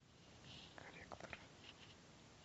коллектор